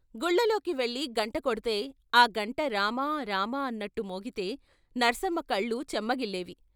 గుళ్ళల్లోకి వెళ్ళి గంట కొడితే ఆ గంట 'రామా' 'రామా' అన్నట్టు మోగితే నర్సమ్మ కళ్ళు చెమ్మగిలేవి.